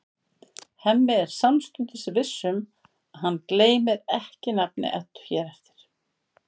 Hemmi er samstundis viss um að hann gleymir ekki nafni Eddu hér eftir.